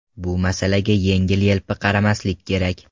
Bu masalaga yengil-yelpi qaramaslik kerak.